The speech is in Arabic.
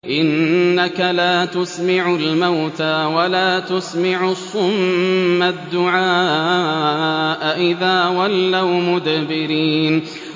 إِنَّكَ لَا تُسْمِعُ الْمَوْتَىٰ وَلَا تُسْمِعُ الصُّمَّ الدُّعَاءَ إِذَا وَلَّوْا مُدْبِرِينَ